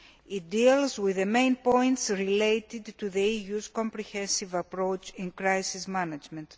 It deals with the main points related to the EU's comprehensive approach in crisis management.